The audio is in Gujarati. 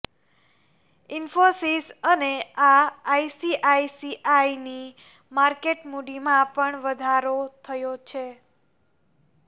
ઇન્ફોસીસ અને આઇસીઆઇસીઆઇની માર્કેટ મુડીમાં પણ વધારો થયો છે